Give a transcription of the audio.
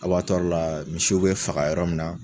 la misiw bɛ faga yɔrɔ min na.